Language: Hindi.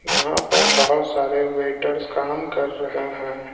यहां पर बहुत सारे वेटर्स काम कर रहे हैं।